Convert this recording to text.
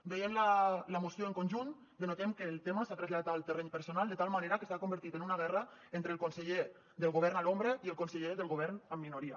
veient la moció en conjunt denotem que el tema s’ha traslladat al terreny personal de tal manera que s’ha convertit en una guerra entre el conseller del govern a l’ombra i el conseller del govern en minoria